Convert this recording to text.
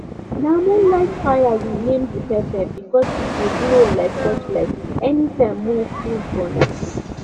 na moonlight fire we name di pepper because e dey glow like torchlight anytime moon full for night